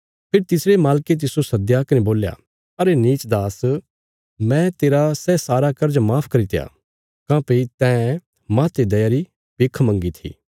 फेरी तिसरे मालके तिस्सो सद्दया कने बोल्या अरे नीच दास मैं तेरा सै सारा कर्ज माफ करित्या काँह्भई तैं माहते दया री भिख मंगी थी